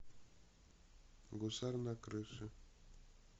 гусар на крыше